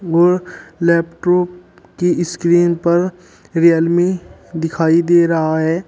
और लैपटॉप की स्क्रीन पर रियलमी दिखाई दे रहा है।